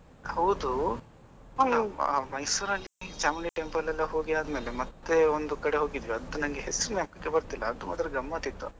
ಹೌದು ಮೈಸೂರ್ ಅಲ್ಲಿ ಚಾಮುಂಡೀ temple ಎಲ್ಲ ಹೋಗಿ ಆದ್ಮೇಲೆ ಮತ್ತೆ ಒಂದು ಕಡೆ ಹೋಗಿದ್ವಿ ಅದು ನಂಗೆ ಹೆಸರು ಜ್ಞಾಪಕಕ್ಕೆ ಬರ್ತಾ ಇಲ್ಲಾ ಅದು ಮಾತ್ರ ಗಮ್ಮತ್ ಇತ್ತು.